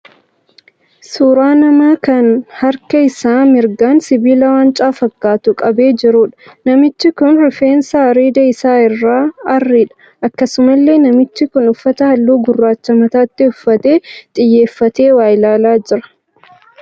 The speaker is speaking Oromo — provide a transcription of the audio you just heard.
Suuraa namaa kan harka isaa mirgaan sibiila waancaa fakkaatu qabee jiruudha. Namichi kun rifeensi areeda isaa irraa arriidha. Akkasumallee namichi kun uffata halluu gurraachaa mataatti uffatee xiyyeeffatee waa ilaalaa jira.